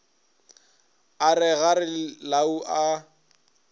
a re kgare lau a